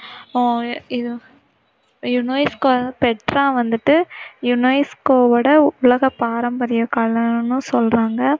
அஹ் இது UNESCO Petra வந்திட்டு யுனெஸ்கோவோட உலக பாரம்பரிய கலைன்னு சொல்லறாங்க.